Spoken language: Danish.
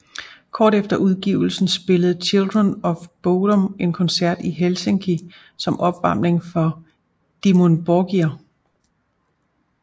Kort efter udgivelsen spillede Children of Bodom en koncert i Helsinki som opvarmning for Dimmu Borgir